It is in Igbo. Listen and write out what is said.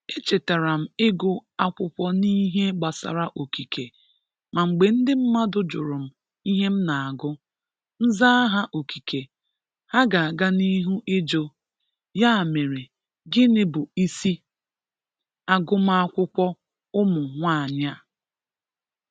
echetara m ịgụ akwụkwọ n'ihe gbasara Okike ma mgbe ndị mmadụ jụrụ m ihe m na-agụ, m zaa ha Okike, ha ga-aga n'ihu ịjụ, "Ya mere, gịnị bụ ịsị agụmaakwụkwọ ụmụ nwaanyị a?"